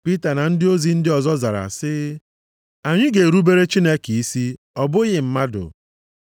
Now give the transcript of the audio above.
Pita na ndị ozi ndị ọzọ zara sị, “Anyị ga-erubere Chineke isi ọ bụghị mmadụ.